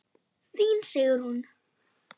Þín, Sigrún.